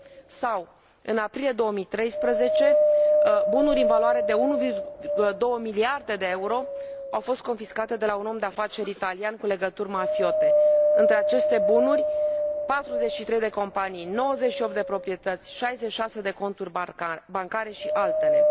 Sau în aprilie 2013, bunuri în valoare de 1,2 miliarde de euro au fost confiscate de la un om de afaceri italian cu legături mafiote între aceste bunuri 43 de companii, 98 de proprietăți, 66 de conturi bancare și altele.